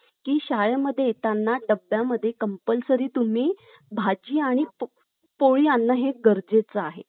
आता कलम अठराद्वारे, किताब नष्ट करण्यात आलेले आहेत. किताब. पहिले एक किताब असायचे बघा, आपण इतिहासात अभ्यासलेले आहेत. रावबहादुर, बरोबर. त्यानंतर केसर हिंद. हे किताब लावले जायचे. तर हे किताब